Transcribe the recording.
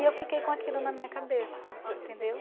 E eu fiquei com aquilo na minha cabeça, entendeu?